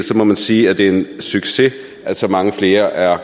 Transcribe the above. må man sige at det er en succes at så mange flere er